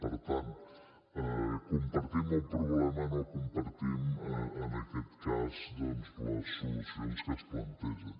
per tant compartim el problema no compartim en aquest cas les solucions que es plantegen